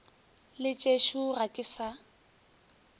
le tšešo ga ke sa